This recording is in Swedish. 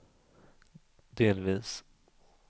delvis